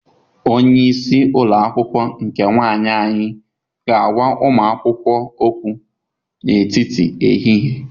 Onye isi ụlọ akwụkwọ nke nwanyị anyị ga-agwa ụmụ akwụkwọ okwu n'etiti ehihie